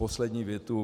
Poslední větu.